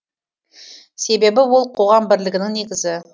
себебі ол қоғам бірлігінің негізі